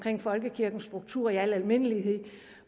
folkekirkens struktur i al almindelighed